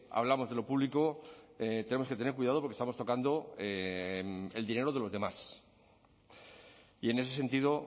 hablamos de lo público tenemos que tener cuidado porque estamos tocando el dinero de los demás y en ese sentido